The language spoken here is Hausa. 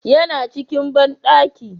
Ya na cikin banɗaki